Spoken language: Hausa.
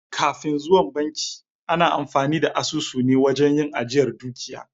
Kafin zuwan banki ana amfani da asusu ne wajen yin ajiyar dukiya.